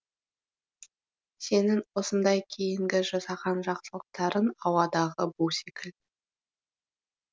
сенің осындай кейінгі жасаған жақсылықтарың ауадағы бу секілді